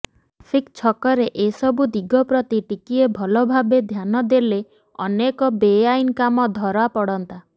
traffic ଛକରେ ଏସବୁ ଦିଗ ପ୍ରତି ଟିକିଏ ଭଲ ଭାବେ ଧ୍ୟାନ ଦେଲେ ଅନେକ ବେଆଇନ୍ କାମ ଧରାପଡ଼ନ୍ତା